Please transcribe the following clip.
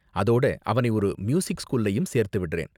அதோட, அவனை ஒரு மியூசிக் ஸ்கூல்லயும் சேர்த்து விடறேன்.